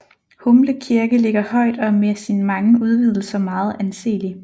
Humble Kirke ligger højt og er med sine mange udvidelser meget anselig